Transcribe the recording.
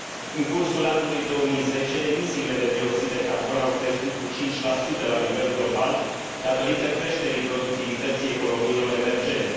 În cursul anului 2010, emisiile de dioxid de carbon au crescut cu 5 la nivel global, datorită creșterii productivității economiilor emergente.